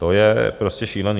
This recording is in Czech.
To je prostě šílený.